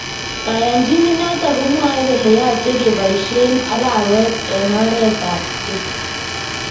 Kayanchnet noton komwae kole yachee kebasyeen araweet en oreet ab keny